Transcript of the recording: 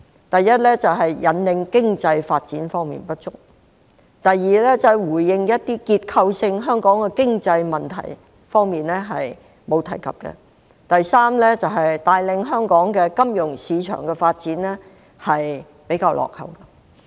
第一，在引領經濟發展方面不足。第二，對於香港的結構性經濟問題，預算案中並無提及。第三，在帶領香港金融市場發展方面比較落後。